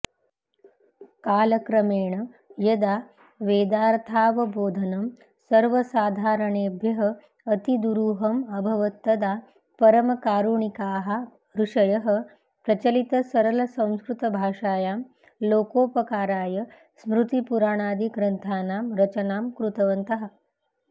कालक्रमेण यदा वेदार्थावबोधनं सर्वसाधारणेभ्यः अतिदुरूहम् अभवत्तदा परमकारुणिकाः ऋषयः प्रचलितसरलसंस्कृतभाषायां लोकोपकाराय स्मृतिपुराणादिग्रन्थानां रचनां कृतवन्तः